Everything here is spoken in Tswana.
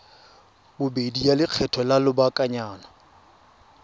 bobedi ya lekgetho la lobakanyana